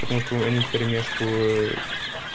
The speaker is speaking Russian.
потому что они вперемешку